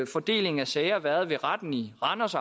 fordelingen af sager været ved retten i randers